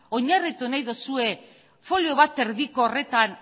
oinarritu nahi duzue folio bat eta erdiko horretan